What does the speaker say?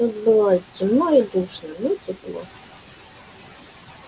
тут было темно и душно но тепло